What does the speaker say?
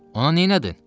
Ona nədin?